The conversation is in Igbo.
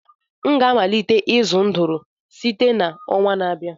m ga-amalite ịzụ ndụrụ site n'ọnwa na-abịa